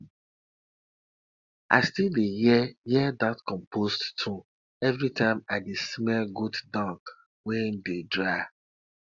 i still dey hear hear dat compost tune every time i dey smell goat dung wey dey dry